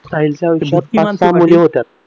साहिलच्या आयुष्यात पाच सहा मुली होत्या